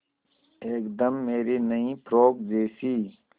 एकदम मेरी नई फ़्रोक जैसी